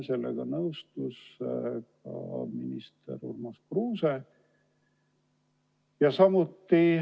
Sellega nõustus ka minister Urmas Kruuse.